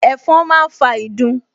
Ẹ̀fọn máa ń fa ìdun